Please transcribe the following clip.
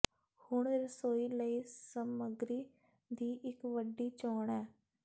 ਹੁਣ ਰਸੋਈ ਲਈ ਸਮੱਗਰੀ ਦੀ ਇੱਕ ਵੱਡੀ ਚੋਣ ਹੈ